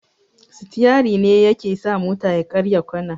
Sitiyari ne yaa ke sa mota ya karya kwana.